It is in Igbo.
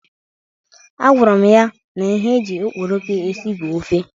Agwara m ya na ihe eji okporoko esi bụ ofe.